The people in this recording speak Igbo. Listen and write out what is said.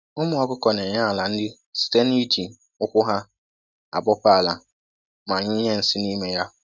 Ụmụ ọkụkụ na-enye ala nri site na-iji ụkwụ ha abọpe ala ma nyụnye nsị n'ime ya